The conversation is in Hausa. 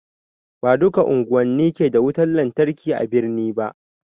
Ba duka unguwani ke da wutan lantarki a birni ba